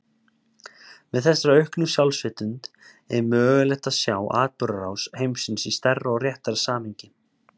Með þessari auknu sjálfsvitund er mögulegt að sjá atburðarás heimsins í stærra og réttara samhengi.